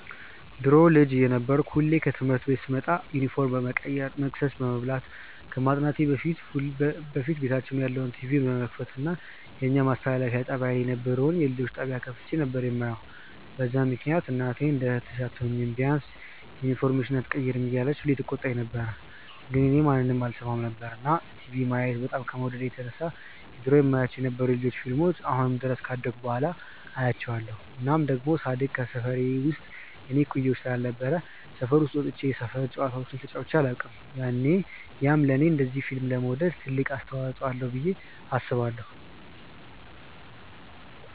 ድሮ ልጅ እየነበርኩ ሁሌ ከትምህርት ቤት ስመጣ ዩኒፎርም ከመቀየሬ፣ መቅሰስ ከመብላቴ፣ ከማጥናቴ ከዚህ ሁሉ በፊት ቤታችን ያለውን ቲቪ በመክፈት የኛ ማስተላለፊያ ጣብያ ላይ የነበረውን የልጆች ጣብያ ከፍቼ ነበር የማየው፤ በዛ ምክንያት እናቴ እንደ እህትሽ አትሆኚም፤ ቢያንስ ዩኒፎርምሽን ኣትቀይሪም እያለች ሁሌ ትቆጣኝ ነበር ግን እኔ ማንንም አልሰማም ነበር። እና ቲቪ ማየት በጣም ከመውደዴ የተነሳ የድሮ የማያቸው የነበሩትን የ ልጆች ፊልሞችን አሁን ድረስ ካደኩ በኋላ አያቸዋለው። እናም ደሞ ሳድግ ከሰፈሬ ውስጥ የኔ እኩያ ስላልነበረ ሰፈር ወጥቼ የሰፈር ጨዋታዎችን ተጫዉቼ ኣላውቅም፤ ያም ለኔ እንደዚ ፊልም ለመውደድ ትልቅ አስተዋፅዎ አለው ብዬ አስባለው።